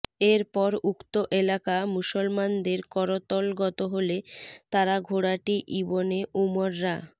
এরপর উক্ত এলাকা মুসলমানদের করতলগত হলে তারা ঘোড়াটি ইবনে উমর রা